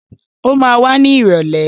Ó ma wá ní ìrọ̀lẹ́.